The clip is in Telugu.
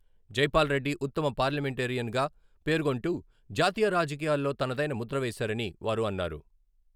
జైపాల్రెడ్డి ఉత్తమ పార్లమెంటేరియన్ గా పేర్కొంటూ జాతీయ రాజకీయాల్లో తనదైన ముద్ర వేశారని వారు అన్నారు.